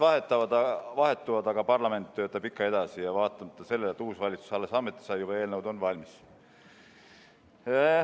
Valitsused vahetuvad, aga parlament töötab ikka edasi ja vaatamata sellele, et uus valitsus alles ametisse sai, on eelnõud juba valmis.